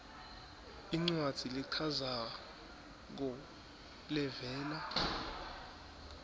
incwadzi lechazako levela